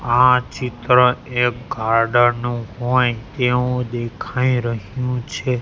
આ ચિત્ર એક ગાર્ડન નુ હોઈ એવુ દેખાઈ રહ્યુ છે.